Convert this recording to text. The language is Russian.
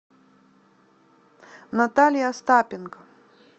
наталья остапенко